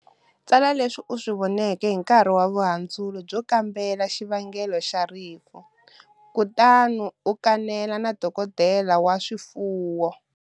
Tsala leswi u swi voneke hi nkarhi wa vuhandzuri byo kambela xivangelo xa rifu kutani u kanela na dokodela wa swifuwo.